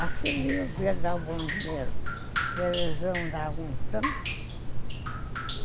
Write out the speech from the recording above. Acho que eles iam dar um bom dinheiro, porque eles não davam um tanto.